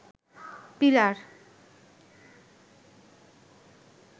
pillar